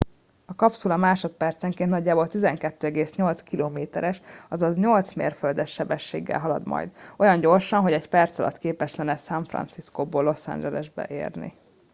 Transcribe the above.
a kapszula másodpercenként nagyjából 12,8 km es azaz 8 mérföldes sebességgel halad majd olyan gyorsan hogy egy perc alatt képes lenne san franciscóból los angelesbe érni